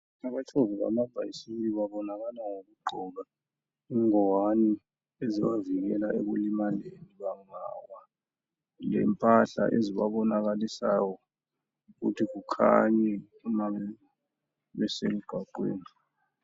Abatshovi bamabhasikili babonakala ngokugqoka ingwane ezibavikela ekulimaleni lempahla ezibabonakalisayo ukuthi kukhanye uma besemgwaqweni.